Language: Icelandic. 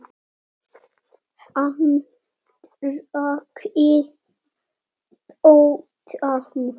Hann drakk í botn.